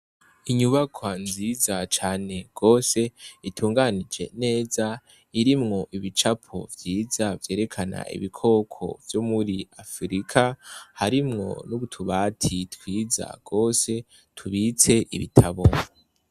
Inyubakwa nziza cane gose itunganije neza irimwo ibicapo vyiza vyerekana ibikoko vyo muri afirika harimwo n' utubati twiza gose tubitse ibitabo.